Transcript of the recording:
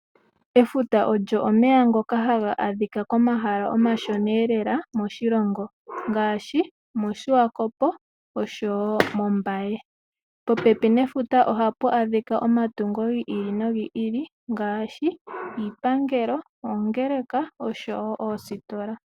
Efuta lyo omeya ngoka haga adhika komahala omashonee lela mo shilongo mo Suwakop osho wo ombaye, popepi nefuta oha pu adhika omatungo giili no giili ngaashi iipangelo, oongeleka, oshowo oositola.